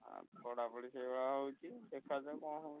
ଆଉ ପଢାପଢି ସେଇ ଭଳିଆ ହଉଛି ଦେଖା ଯାଉ କଣ ହଉଛି।